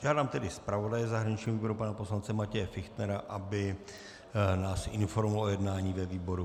Žádám tedy zpravodaje zahraničního výboru pana poslance Matěje Fichtnera, aby nás informoval o jednání ve výboru.